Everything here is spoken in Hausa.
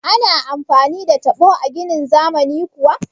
Ana amfani da taɓo a ginin zamani kuwa?